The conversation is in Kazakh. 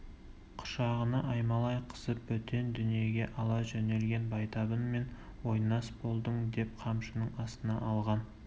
құшағына аймалай қысып бөтен дүниеге ала жөнелген байтабынмен ойнас болдың деп қамшының астына алған